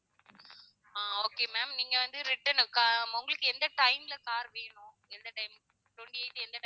ஆஹ் okay ma'am நீங்க வந்து return உ க~ உங்களுக்கு எந்த time ல car வேணும் எந்த time twenty eight எந்த time